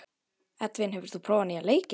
Edvin, hefur þú prófað nýja leikinn?